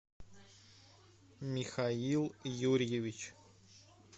михаил юрьевич